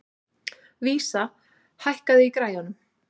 Vísa, hækkaðu í græjunum.